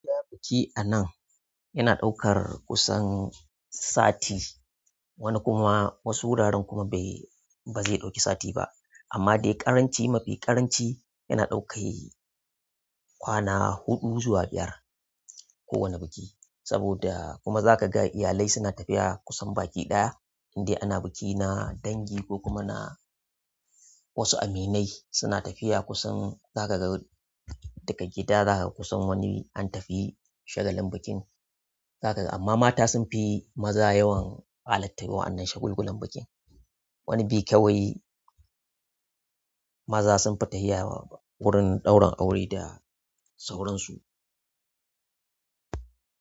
Ina biki a nan yana ɗaukar kusan sati wani kuma wasu wuraren kuma bai ba zai ɗauki sati ba amma dai ƙaranci mafi ƙaranci yana ɗauka kwana huɗu zuwa biyar kowane biki saboda kuma za ka ga iyalai suna tafiya kusan baki ɗaya in dai ana biki na dangi ko kuma na wasu aminai suna tafiya kusan za ka ga daga gida za kaga kusan wani an tafi shagalin bikin. Za kaga amma mata sunfi maza yawan halartar waɗannan shagalgulan bikin. Wani biyu kawai maza sun fi tahiya wurin ɗaurin aure da sauransu.